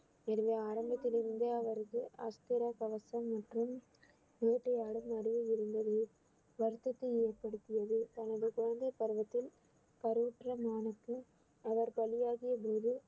ஆரம்பத்திலிருந்தே அவரது அஸ்திர கவசம் மற்றும் வேட்டையாடும் இருந்தது வருத்தத்தை ஏற்படுத்தியது தனது குழந்தைப் பருவத்தில் கருவுற்ற மானுக்கு அவர் பலியாகிய போது